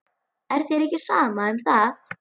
Er þér ekki sama um það?